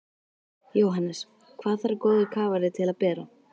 Jóhannes: Hvað þarf góður kafari til að bera?